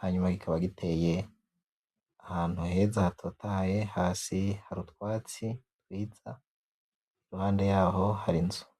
hanyuma kikaba giteye ahantu heza hatotahaye hasi hari utwatsi twiza iruhandeyaho hari inzu .